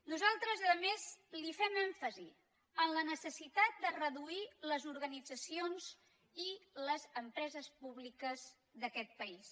nosaltres a més li fem èmfasi en la necessitat de reduir les organitzacions i les empreses públiques d’aquest país